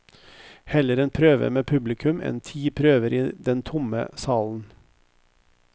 Heller en prøve med publikum enn ti prøver i den tomme salen.